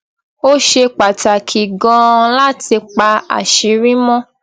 ó ṣe pàtàkì ganan láti pa àṣírí mọ